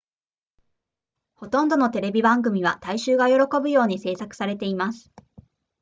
ほとんどのテレビ番組は大衆が喜ぶように製作されています